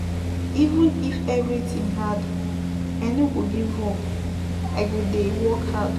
Even if everytin hard, I no go give up, I go dey work hard.